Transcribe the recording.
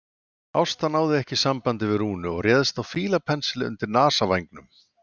Ásta náði ekki sambandi við Rúnu og réðist á fílapensil undir nasavængnum.